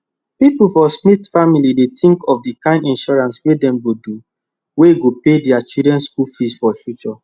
people for smith family dey think of the kind insurance wey dem go dowey go pay their children school fees for future